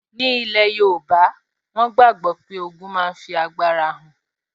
Ní ilẹ̀ yóòbá, wọ́n gbàgbọ́ pé ogun máa fi agbára hàn